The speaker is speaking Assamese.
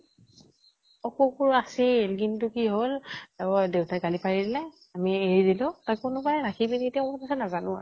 অ । কুকুৰ আছিল কিন্তু কি হʼল, অ দেউতাই গালি পাৰিলে । আমি এৰি দিলো । কোনোৱাই ৰাখি পিনি, এতিয়া কʼত আছে নাজানো ।